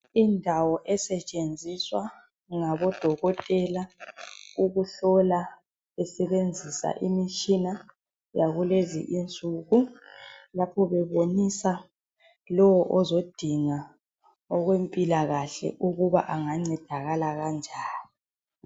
Indawo esetshenziswa ngabodokotela ukuhlola besenzisa imitshina yakulezi insuku lapho bebonisa lowo ozodinga okwempilakahle ukuba angancedakala kanjani.